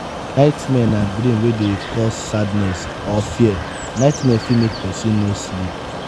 nightmare na dream wey dey cause sadness or fear nightmare fit make person no sleep